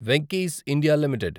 Venky's India limited